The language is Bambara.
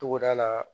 Togoda la